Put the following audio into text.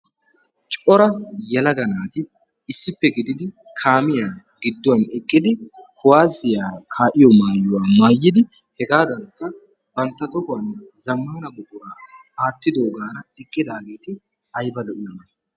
Cora yelaga naati issippe gididi kaamiya gidduwan uttidi kuwaasiya kaa'iyo maayuwa maayidi hegaadankka bantta tohuwan zammaana buquraa aattidaageeti ayba lo'iyonaa?